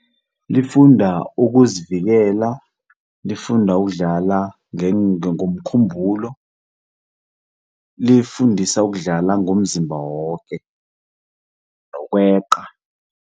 Lifunda ukuzivikela, lifunda ukudlala ngokomkhumbulo. Lifundisa ukudlala ngomzimba woke, nokweqa.